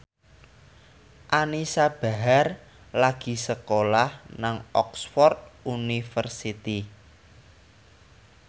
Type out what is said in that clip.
Anisa Bahar lagi sekolah nang Oxford university